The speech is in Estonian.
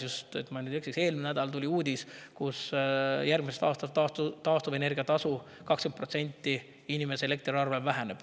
Kui ma nüüd ei eksi, siis eelmisel nädalal tuli uudis, et järgmisel aastal väheneb taastuvenergia tasu inimese elektriarvel 20%.